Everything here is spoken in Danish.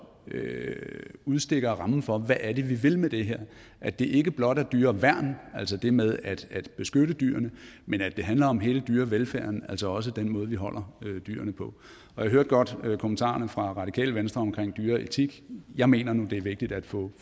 udstikker rammen for hvad det er vi vil med det her at det ikke blot er dyreværn altså det med at beskytte dyrene men at det handler om hele dyrevelfærden altså også den måde vi holder dyrene på jeg hørte godt kommentarerne fra radikale venstre omkring dyreetik jeg mener nu det er vigtigt at få